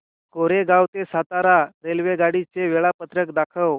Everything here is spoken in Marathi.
कोरेगाव ते सातारा रेल्वेगाडी चे वेळापत्रक दाखव